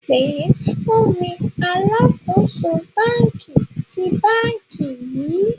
pe fun mi alakoso banki ti banki yii!